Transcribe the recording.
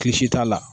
Klisi t'a la